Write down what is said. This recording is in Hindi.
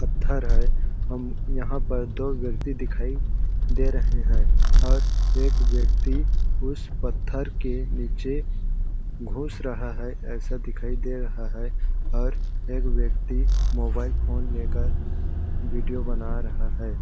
पत्थर है। हम्म यहाँ पर दो व्यक्ति दिखाई दे रहें है। और एक व्यक्ति उस पत्थर के नीचे घुस रहा है ऐसा दिखाई दे रहा है। और एक व्यक्ति मोबाइल फ़ोन लेकर वीडियो बना रहा है।